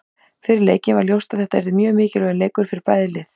Fyrir leikinn var ljóst að þetta yrði mjög mikilvægur leikur fyrir bæði lið.